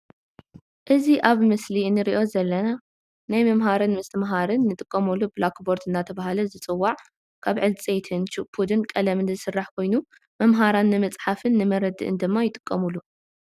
እዚ ኣብ ምስሊ እንርኦ ዘለና ናይ ምምሃርን ምስትምሃርን ንጥቀመሉ ብላክቦርድ እንዳተባሃለ ዝፅዋዕ ካብ ዕንፀይትን ችቡድን ቀለምን ዝስራሕ ኮይኑ መምሃራን ንመፃሓፍን ንመረድእን ድማ ይጥቀሙሉ።